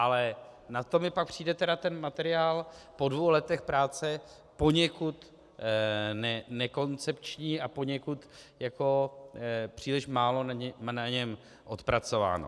Ale na to mi pak přijde ten materiál po dvou letech práce poněkud nekoncepční a poněkud příliš málo na něm odpracováno.